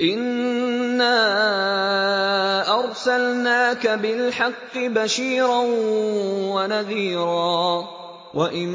إِنَّا أَرْسَلْنَاكَ بِالْحَقِّ بَشِيرًا وَنَذِيرًا ۚ وَإِن